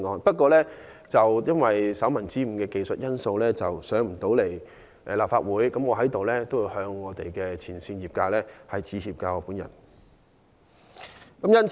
不過，由於手民之誤的技術原因，修正案未能在本會進行辯論，我就此向業界前線員工致歉。